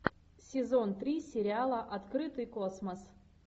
сезон три сериала открытый космос